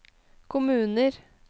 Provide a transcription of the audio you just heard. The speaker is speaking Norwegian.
kommuner